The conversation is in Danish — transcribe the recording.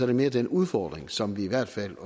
det mere den udfordring som vi i hvert fald